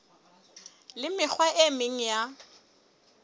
le mekgwa e meng ya